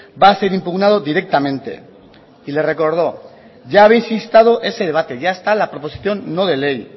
va a ser impugnado directamente y le recordó ya habéis instado ese debate ya está la proposición no de ley